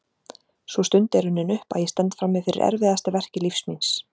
Sú stund er runnin upp að ég stend frammi fyrir erfiðasta verki lífs míns.